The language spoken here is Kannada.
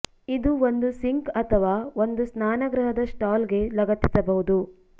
ಇದು ಒಂದು ಸಿಂಕ್ ಅಥವಾ ಒಂದು ಸ್ನಾನಗೃಹದ ಸ್ಟಾಲ್ ಗೆ ಲಗತ್ತಿಸಬಹುದು